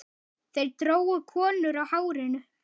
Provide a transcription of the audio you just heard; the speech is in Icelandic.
Þeir drógu konur á hárinu.